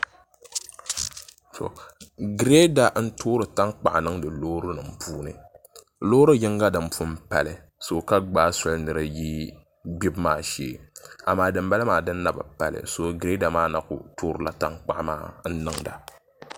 Girɛda n toori tankpaɣu niŋdi loori nim puuni loori yinga din pun pali ka gbaai soli ni di yi gbibu maa shee amaa din bala maa din babi pali soo girɛda maa na ku toorila tankpaɣu maa n niŋda